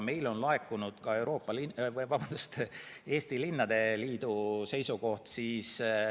Meile on laekunud ka Eesti Linnade ja Valdade Liidu seisukoht.